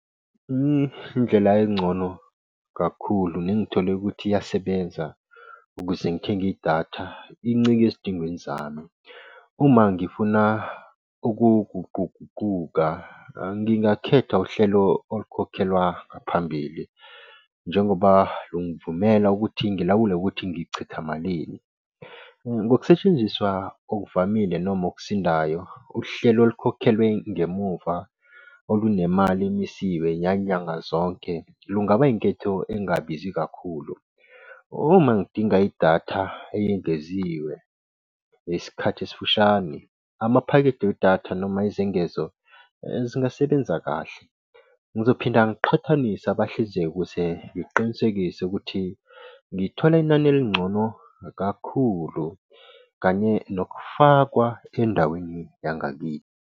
Indlela engcono kakhulu nengithole ukuthi iyasebenza ukuze ngithenge idatha incike ezidingweni zami. Uma ngifuna ukuguquguquka, ngingakhetha uhlelo olukhokhelwa ngaphambili njengoba lungivumela ukuthi ngilawule ukuthi ngichitha malini. Ngokusetshenziswa okuvamile noma okusindayo. Uhlelo olukhokhelwe ngemuva olunemali emisiwe yanyanga zonke lungaba inketho engabizi kakhulu. Uma ngidinga idatha eyengeziwe ngesikhathi esifushane, amaphakethe wedatha noma izengezo zingasebenza kahle. Ngizophinda ngiqhathanise abahlinzeki ukuze ngiqinisekise ukuthi ngithole inani elingcono kakhulu kanye nokufakwa endaweni yangakithi.